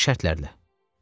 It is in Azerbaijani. Hansı şərtlərlə?